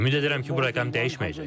Ümid edirəm ki, bu rəqəm dəyişməyəcək.